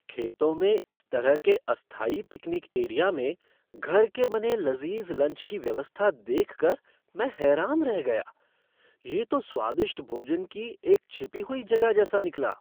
खेतों में इस तरह के अस्थायी पिकनिक एरिया में घर के बने लज़ीज़ लंच की व्यवस्था देख कर मैं हैरान रह गया। ये तो स्वादिष्ट भोजन की एक छिपी हुई जगह जैसा निकला!